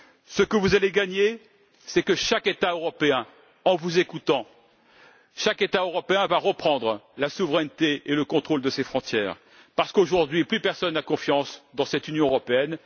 Ce que vous allez gagner, c'est que chaque État européen, en vous écoutant, va reprendre la souveraineté et le contrôle de ses frontières, parce qu'aujourd'hui, plus personne n'a confiance dans cette Union européenne.